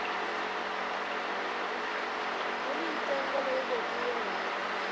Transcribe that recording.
we ni ntsengo lowu vekiweke